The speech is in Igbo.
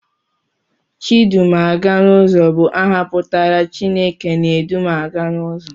Chidumaganụzọ bụ aha pụtara 'Chineke na-edu m aga n'ụzọ'